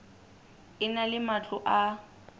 e na le matlo a